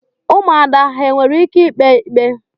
Ụmụada ha nwere ike ikpe ikpe?